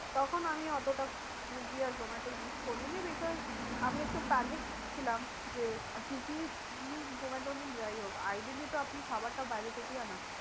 তখন আমি অতটা সুইগী আর জোমাটো use করিনি because আমি একটু panic ছিলাম যে সুইগী জোমাটো যাই হোক তো আপনি খাবারটা বাইরে থেকেই আনাচ্ছেন।